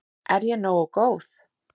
Er ég nógu góð?